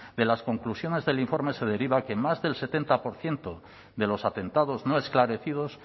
de las conclusiones del informe se deriva que en más del setenta por ciento de los atentados no esclarecidos